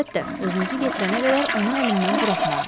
Əlbəttə, özünüzü yetirənə qədər onu əlimdən buraxmaram.